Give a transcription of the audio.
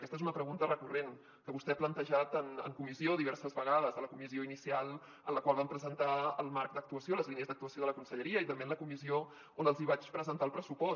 aquesta és una pregunta recurrent que vostè ha plantejat en comissió diverses vegades a la comissió inicial en la qual vam presentar el marc d’actuació les línies d’actuació de la conselleria i també en la comissió on els hi vaig presentar el pressupost